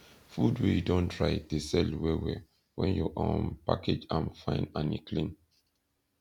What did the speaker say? food wey you don dry de sell well well when you um package am fine and e clean